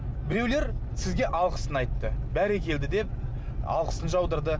біреулер сізге алғысын айтты бәрекелді деп алғысын жаудырды